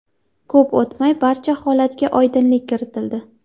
Ko‘p o‘tmay barcha holatga oydinlik kiritildi.